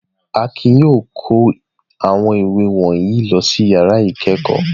Akin yóò kó awon iwe wọ̀nyí lọ sí ìyàrá ìkẹ́kọ̀ọ́.